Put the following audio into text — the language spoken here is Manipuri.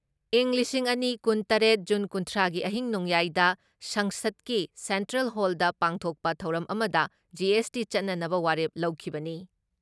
ꯏꯪ ꯂꯤꯁꯤꯡ ꯑꯅꯤ ꯀꯨꯟ ꯇꯔꯦꯠ ꯖꯟ ꯀꯨꯟꯊ꯭ꯔꯥꯒꯤ ꯑꯍꯤꯡ ꯅꯣꯡꯌꯥꯏꯗ ꯁꯪꯁꯠꯀꯤ ꯁꯦꯟꯇ꯭ꯔꯦꯜ ꯍꯣꯜꯗ ꯄꯥꯡꯊꯣꯛꯄ ꯊꯧꯔꯝ ꯑꯃꯗ ꯖꯤ.ꯑꯦꯁ.ꯇꯤ ꯆꯠꯅꯅꯕ ꯋꯥꯔꯦꯞ ꯂꯧꯈꯤꯕꯅꯤ ꯫